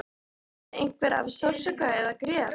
Veinaði einhver af sársauka eða grét?